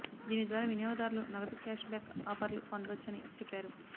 దీని ద్వారా వినియోగదారులు నగదు క్యాష్ బ్యాక్ ఆపర్లు పొందొచ్చని చెప్పారు